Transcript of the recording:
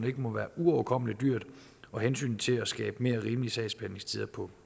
ikke må være uoverkommeligt dyrt og hensynet til at skabe mere rimelige sagsbehandlingstider på